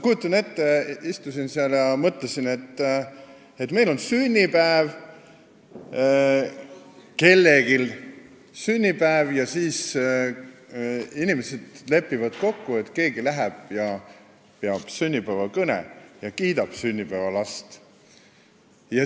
Istusin seal ja mõtlesin, et kui meil on sünnipäev, st kui kellelgi on sünnipäev, siis inimesed lepivad kokku, et keegi läheb ja peab sünnipäevakõne, kiidab sünnipäevalast.